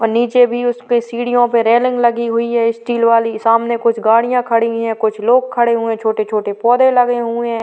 और नीचे भी उस पे सीढ़ियों पे रेलिंग लगी हुई है स्टील वाली। सामने कुछ गाड़ियाँ खड़ी हैं कुछ लोग खड़े हुए छोटे-छोटे कुछ पौधे लगे हुए हैं।